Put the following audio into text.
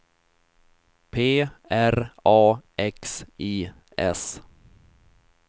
P R A X I S